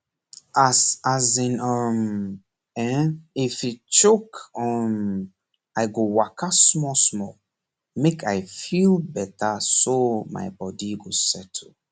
as as in um ehnif e choke um i go waka smallsmall make i feel betterso my body go settle